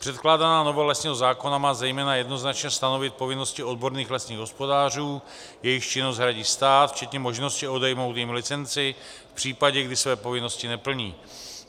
Předkládaná novela lesního zákona má zejména jednoznačně stanovit povinnosti odborných lesních hospodářů, jejichž činnost hradí stát včetně možnosti odejmout jim licenci v případě, kdy své povinnosti neplní.